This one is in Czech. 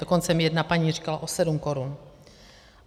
Dokonce mi jedna paní říkala o 7 korun.